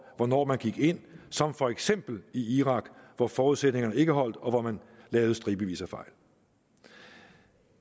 hvornår man gik ind som for eksempel i irak hvor forudsætningerne ikke holdt og hvor man lavede stribevis af fejl